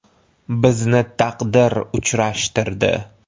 Bizni taqdir uchrashtirdi.